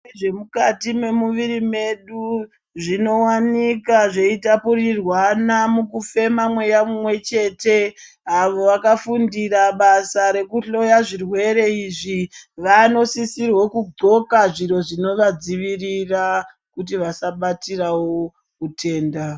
Zvirwere zvemukati mwemuviri mwedu zvinowanika zveitapurirwana mukufema mweya mumwe chete, avo vakafundira basa rekuhloya zvirwere izvi ,vanosisirwe kudxoka zviro zvinovadzivirira, kuti vasabatirawo utenda.